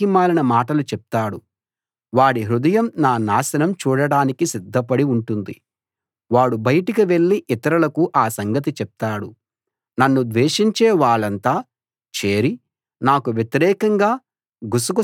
నా శత్రువు నన్ను చూడటానికి వస్తే నా గురించి పనికిమాలిన మాటలు చెప్తాడు వాడి హృదయం నా నాశనం చూడ్డానికి సిద్ధపడి ఉంటుంది వాడు బయటకు వెళ్లి ఇతరులకు ఆ సంగతి చెప్తాడు